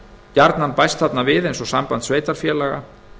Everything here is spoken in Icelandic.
gjarnan bæst þarna við eins og samband sveitarfélaga